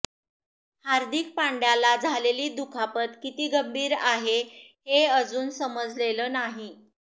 हार्दिक पांड्याला झालेली दुखापत किती गंभीर आहे हे अजून समजलेलं नाही